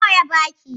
Nawa ya baki?